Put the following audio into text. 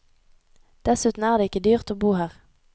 Dessuten er det ikke dyrt å bo her.